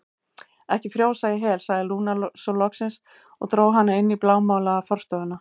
Ekki frjósa í hel, sagði Lúna svo loksins og dró hana inn í blámálaða forstofuna.